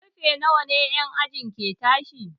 Karfe nawa en aji ɗaya ke tashi?